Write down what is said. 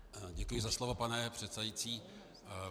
Děkuji za slovo, pane předsedající.